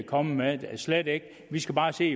kommer med slet ikke vi skal bare se